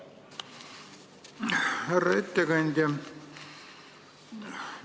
Härra ettekandja!